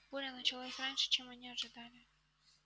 буря началась раньше чем они ожидали